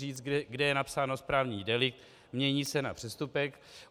Říct, kde je napsáno správní delikt, mění se na přestupek.